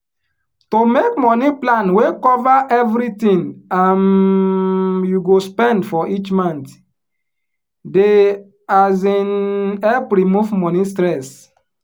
to make money plan wey cover every tin um you go spend for each month dey um help remove money stress.